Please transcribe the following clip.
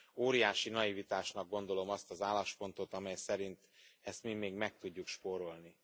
Óriási naivitásnak gondolom azt az álláspontot, amely szerint ezt mi még meg tudjuk spórolni.